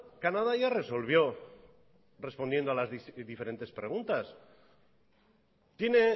canadá ya resolvió respondiendo a las diferentes preguntas tiene